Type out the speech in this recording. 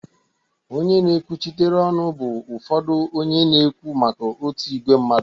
Onye na-ekwuchitere ọnụ bụ ụfọdụ onye na-ekwu maka otu ìgwè mmadụ